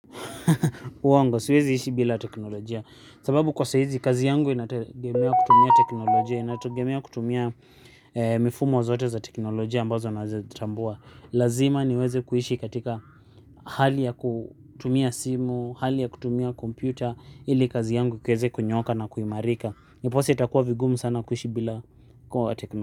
Uongo siwezi ishi bila teknolojia. Sababu kwa saizi kazi yangu inategemea kutumia teknolojia. Inategemea kutumia mifumo zote za teknolojia ambazo naezatambua. Lazima niweze kuishi katika hali ya kutumia simu. Hali ya kutumia kompyuta ili kazi yangu kieze kunyooka na kuimarika. Niposa itakuwa vigumu sana kuishi bila teknolojia.